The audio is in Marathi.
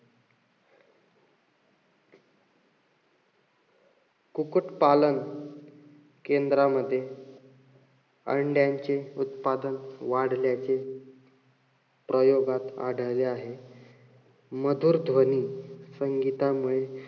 कुकुटपालन केंद्रामध्ये अंड्यांचे उत्पादन वाढल्याचे प्रयोगात आढळले आहे. मधुर ध्वनी संगीतामुळे,